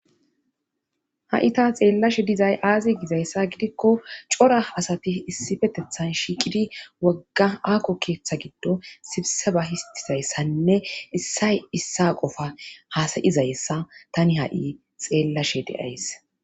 Ha'i ta xeellashe dizay aazi gizayssa gidikko cora asati issifetethan shiiqidi wogga aako keeththa giddo sibse ba histizayssanne issay issa qofa haasayizayssa tani ha'i xeellashe deays.